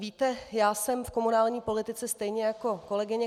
Víte, já jsem v komunální politice stejně jako kolegyně